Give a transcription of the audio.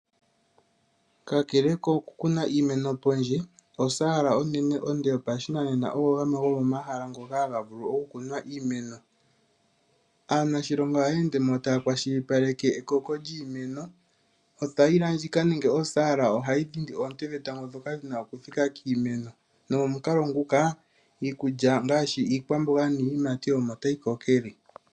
Kakele koku kuna iimeno pondje, osaala onene onde yopashinanena ogo gamwe gomomahala ngoka haga vulu oku kunwa iimeno. Aanashilonga ohaya ende mo taya kwashilipaleke ekoko lyiimeno. Othaila ndjika nenge oosaala ohayi ningi oonte dhetango ndhoka dhina oku thika kiimeno nomomukalo nguka iikulya ngaashi iikwamboga niiyimati omo tayi kokele.